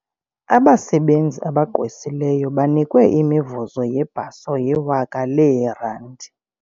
Abasebenzi abagqwesileyo banikwe imivuzo yebhaso yewaka leerandi.